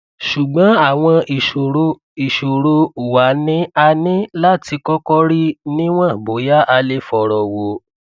ṣùgbọn àwọn ìṣòro ìṣòro wa ni a ní láti kọkọ rí níwọn bóyá a lè fọrọ wò